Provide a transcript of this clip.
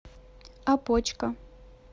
опочка